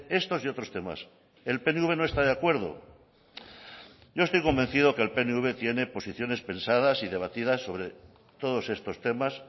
estos y otros temas el pnv no está de acuerdo yo estoy convencido que el pnv tiene posiciones pensadas y debatidas sobre todos estos temas